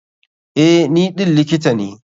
Eh, ni ɗin likita ne.